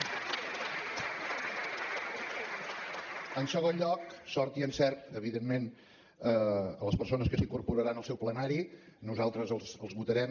en segon lloc sort i encert evidentment a les persones que s’incorporaran al seu plenari nosaltres els votarem